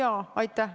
Jaa, aitäh!